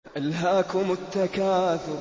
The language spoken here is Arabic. أَلْهَاكُمُ التَّكَاثُرُ